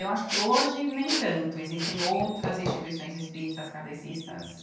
Eu acho que hoje nem tanto, existem outras instituições espíritas kardecistas.